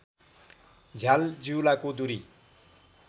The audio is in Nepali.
झ्याल जिउलाको दुरी